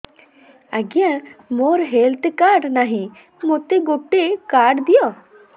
ଆଜ୍ଞା ମୋର health card ନାହିଁ ମୋତେ ଗୋଟେ କାର୍ଡ ଦିଅ